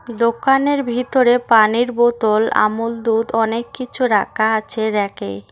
দোকানের ভিতরে পানির বোতল আমুল দুধ অনেক কিছু রাখা আছে র‍্যাক এ।